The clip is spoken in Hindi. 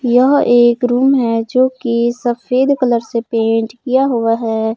यह एक रूम है जोकि सफेद कलर से पेंट किया हुआ है।